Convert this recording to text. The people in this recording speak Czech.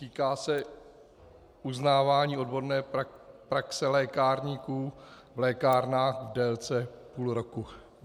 Týká se uznávání odborné praxe lékárníků v lékárnách v délce půl roku.